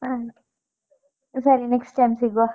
ಹಾ ಸರಿ next time ಸಿಗುವ.